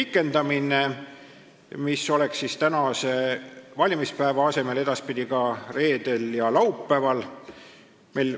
Kui praegu saab kodus hääletada valimispäeval, siis edaspidi ka reedel ja laupäeval.